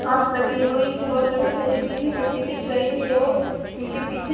घास लगी हुई है और कहीं कहीं पीली मिट्टी दिख रही है और उनके पीछे--